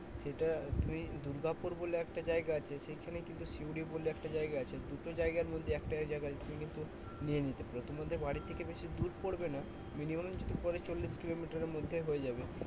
সেটা তুমি দুর্গাপুর বলে একটা জায়গা আছে সেখানে কিন্তু সিউড়ি বলে একটা জায়গা আছে দুটো জায়গার মধ্যে একটা জায়গায় তুমি কিন্তু নিয়ে নিতে পারো। তোমাদের বাড়ি থেকে বেশি দূর পড়বে না। minimum যদি পরে চল্লিশ কিলোমিটারের মধ্যে হয়ে যাবে।